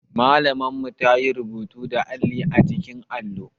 Malamar mu ta yi rubutu da alli a jikin allo